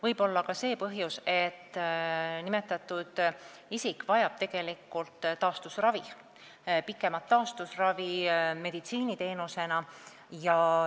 Võib olla see põhjus, et nimetatud isik vajab tegelikult pikemat taastusravi meditsiiniteenusena.